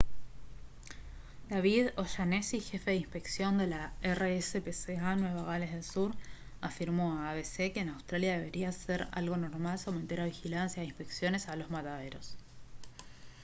david o'shannessy jefe de inspección de la rspca nueva gales del sur afirmó a abc que en australia debería ser algo normal someter a vigilancia e inspecciones a los mataderos